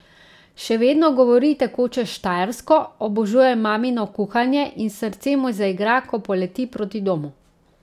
Še vedno govori tekoče štajersko, obožuje mamino kuhanje in srce mu zaigra, ko poleti proti domu.